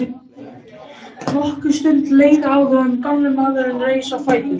Nokkur stund leið áður en gamli maðurinn reis á fætur.